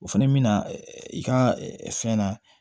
O fɛnɛ bi na i ka fɛn na